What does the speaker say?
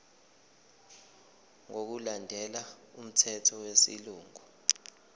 ngokulandela umthetho wesilungu